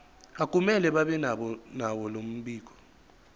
akumele babenalo mbiko